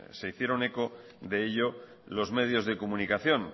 se hicieron eco de ello los medios de comunicación